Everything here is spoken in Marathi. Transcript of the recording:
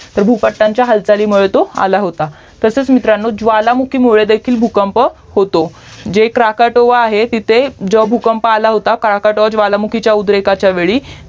तर भूपट्टांच्या हालचाली मुळे तो आला होता तसच मित्रांनो ज्वालामुखीमुळे देखील भूकंप होतो जे क्रकोटोवा आहे तेथे जेव्हा भूकंप आला होता क्रकोटोवा ज्वालामुखीच्या उद्रेखाच्या वेळी